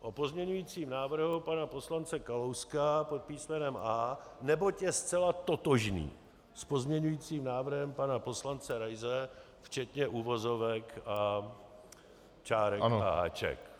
o pozměňujícím návrhu pana poslance Kalouska pod písmenem A, neboť je zcela totožný s pozměňujícím návrhem pana poslance Raise včetně uvozovek a čárek a háčků.